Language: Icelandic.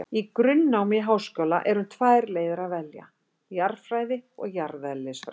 Í grunnnámi í háskóla er um tvær leiðir að velja, jarðfræði og jarðeðlisfræði.